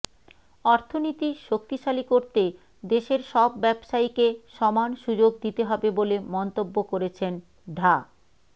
অর্থনীতি শক্তিশালী করতে দেশের সব ব্যবসায়ীকে সমান সুযোগ দিতে হবে বলে মন্তব্য করেছেন ঢা